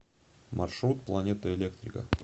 маршрут планета электрика